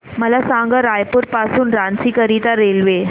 मला सांगा रायपुर पासून रांची करीता रेल्वे